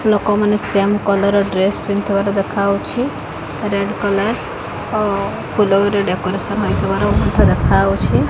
ଲୋକମାନେ same colour dress ପିନ୍ଧିଥିବାର ଦେଖାଯାଉଛି ରେଡ୍ କଲର୍ ଆଉ ଫୁଲରେ ଭି ଡେକୋରେସନ ହେଇଥିବାର ମଧ୍ୟ ଦେଖାଯାଉଛି।